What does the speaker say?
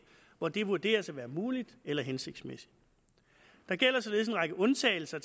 hvor det vurderes at være muligt eller hensigtsmæssigt der gælder således en række undtagelser